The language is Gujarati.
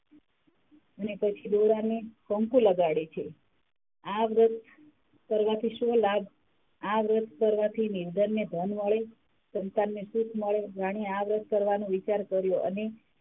ને પછી દોરાને કંકુ લગાડે છે. આ વ્રત કરવાથી શું લાભ? આ વ્રત કરવાથી નિંદર ને ધન મળે, સંસાર ને સુખ મળે. રાણીએ આ વ્રત કરવાનો વિચાર કર્યો અને,